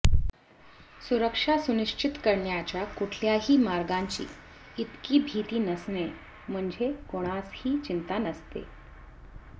सुरक्षा सुनिश्चित करण्याच्या कुठल्याही मार्गांची इतकी भीती नसणे म्हणजे कोणासही चिंता नसते